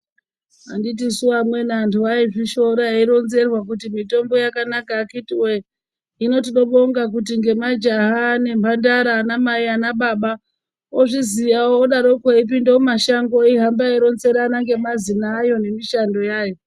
Anditisu amweni antu aizvishora veironzerwa kuti mitombo yakanaka akhitiwe . Hino tinobonga kuti ngemajaha , ngemhandara , anamai ana baba ozviziyawo odaroko eipinde mumashango ,ohamba eironzerana ngemazina ayo nemishando yayo.